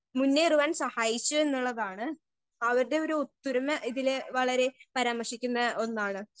Speaker 1 മുന്നേറുവാൻ സഹായിച്ചൂ എന്നുള്ളതാണ് അവർടെ ഒരു ഒത്തൊരുമ ഇതില് വളരെ പരാമർശിക്കുന്ന ഒന്നാണ്.